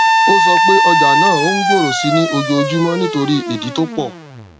o sọpe ọjà na òun gbòrò sì ni ọjọ ojúmọ nítorí ìdí tó pò